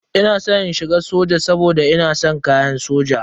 Ina san in shiga soja saboda ina san kayan soja.